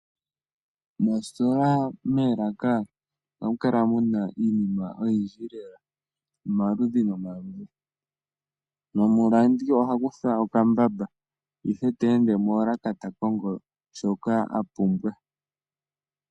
Moositola moolaka ohamu kala muna iinima oyindji lela yomaludhi nomaludhi . Omulandi oha kutha okambamba ihe ta ende moolaka ta kongo shoka apumbwa.